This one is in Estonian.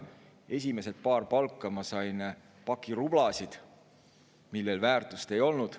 Esimesed paar palka ma sain paki rublasid, millel väärtust ei olnud.